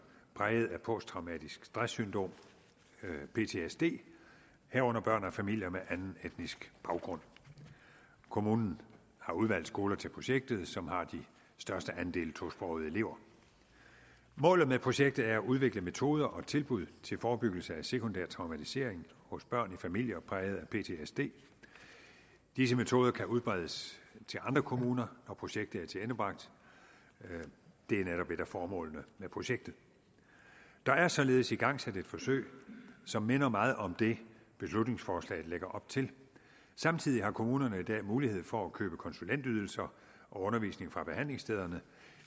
præget af posttraumatisk stress syndrom ptsd herunder børn i familier af anden etnisk baggrund kommunen har udvalgt skoler til projektet som har de største andele af tosprogede elever målet med projektet er at udvikle metoder og tilbud til forebyggelse af sekundær traumatisering hos børn i familier præget af ptsd disse metoder kan udbredes til andre kommuner når projektet er tilendebragt det er netop et af formålene med projektet der er således igangsat et forsøg som minder meget om det beslutningsforslaget lægger op til samtidig har kommunerne i dag mulighed for at købe konsulentydelser og undervisning fra behandlingsstederne